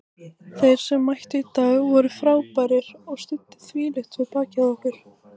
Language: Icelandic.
Þeir sem mættu í dag voru frábærir og studdu þvílíkt við bakið á okkur.